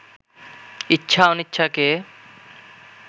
ইচ্ছা অনিচ্ছাকে